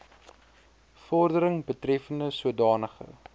vordering betreffende sodanige